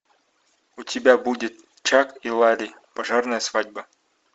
у тебя будет чак и ларри пожарная свадьба